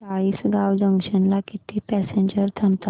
Chalisgaon junction ला किती passengers थांबतात